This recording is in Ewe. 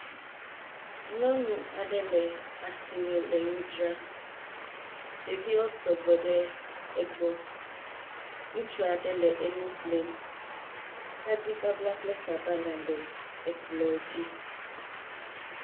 Nyɔnu aɖe le asime le nu dzra. Ɖeviwo sɔgbɔ le egbɔ. Ŋutsu aɖe le egbɔ le nu ƒlem. Tadibabla kple sabala le ekplɔ̃dzi.